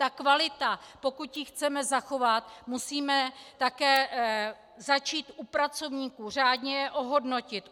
Ta kvalita, pokud ji chceme zachovat, musíme také začít u pracovníků, řádně je ohodnotit.